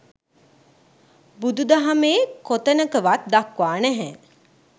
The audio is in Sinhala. බුදු දහමේ කොතනකවත් දක්වා නැහැ.